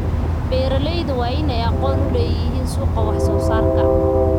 Beeralayda waa in ay aqoon u leeyihiin suuqa wax soo saarka.